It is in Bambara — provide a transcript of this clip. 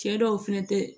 Cɛ dɔw fɛnɛ tɛ